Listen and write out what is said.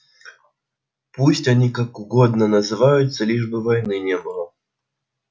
пусть они как угодно называются лишь бы войны не было